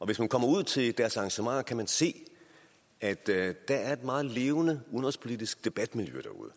hvis man kommer ud til deres arrangementer kan man se at der er et meget levende udenrigspolitisk debatmiljø derude